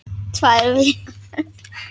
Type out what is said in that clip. Tvær vikur?